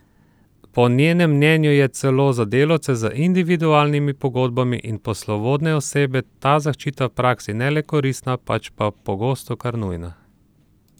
Po njenem mnenju je celo za delavce z individualnimi pogodbami in poslovodne osebe ta zaščita v praksi ne le koristna, pač pa pogosto kar nujna!